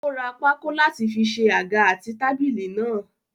Ó ra pákó láti fi ṣe àga àti tábìlì náà.